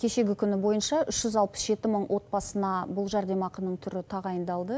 кешегі күні бойынша үш жүз алпыс жеті мың отбасына бұл жәрдемақының түрі тағайындалды